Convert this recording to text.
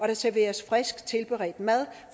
der serveres frisk tilberedt mad